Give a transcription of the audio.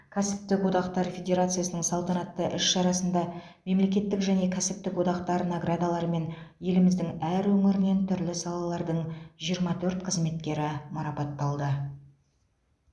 кәсіптік одақтар федерациясының салтанатты іс шарасында мемлекеттік және кәсіптік одақтар наградаларымен еліміздің әр өңірінен түрлі салалардың жиырма төрт қызметкері марапатталды